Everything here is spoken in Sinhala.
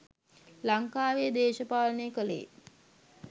ලංකාවෙ දේශපාලනය කළේ